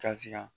Kasira